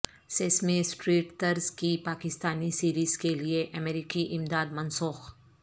sesame Street طرز کی Pakistani series کے لیے امریکی امداد منسوخ